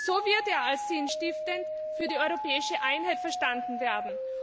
So wird er als sinnstiftend für die europäische Einheit verstanden werden.